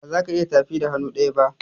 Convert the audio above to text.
bazaka iya tafi da hannu ɗaya ba.